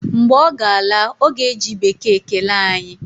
Mgbe ọ ga-ala, ọ ga-eji bekee kelee anyị